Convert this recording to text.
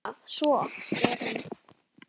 Og hvað svo, spyr hún.